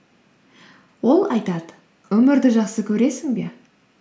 ол айтады өмірді жақсы көресің бе